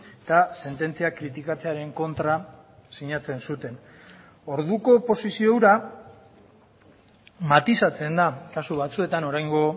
eta sententzia kritikatzearen kontra sinatzenzuten orduko posizio hura matizatzen da kasu batzuetan oraingo